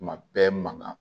Tuma bɛɛ mankan